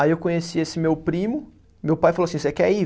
Aí eu conheci esse meu primo, meu pai falou assim, você quer ir?